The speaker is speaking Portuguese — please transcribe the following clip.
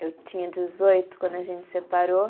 Eu tinha dezoito quando a gente separou.